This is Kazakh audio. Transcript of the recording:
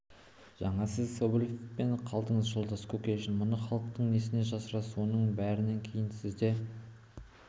жаңа сіз скоблев деп қалдыңыз жолдас кушекин мұны халықтан несіне жасырасыз осының бәрінен кейін сізде